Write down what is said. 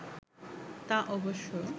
তা অবশ্য